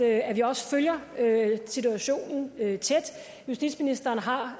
at vi også følger situationen tæt justitsministeren har